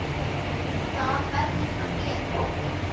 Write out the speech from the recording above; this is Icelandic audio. Það verður hún að gera.